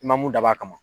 I ma mun dabɔ a kama